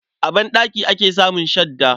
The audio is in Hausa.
A banɗaki ake samun shadda.